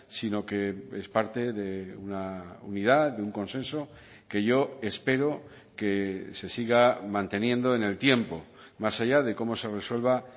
sino que es parte de una unidad de un consenso que yo espero que se siga manteniendo en el tiempo más allá de cómo se resuelva